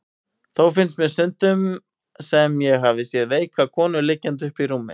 Þó finnst mér stundum sem ég hafi séð veika konu liggja uppi í rúmi.